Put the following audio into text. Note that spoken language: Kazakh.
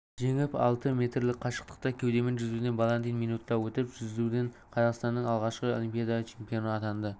жеңіп алды метрлік қашықтықты кеудемен жүзуден баландин минутта өтіп жүзуден қазақстанның алғашқы олимпиада чемпионы атанды